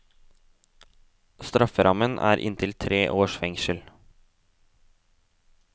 Strafferammen er inntil tre års fengsel.